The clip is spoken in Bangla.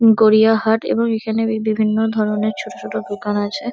গড়িয়াহাট এবং এখানে বিভিন্ন ধরণের ছোট ছোট দোকান আছে।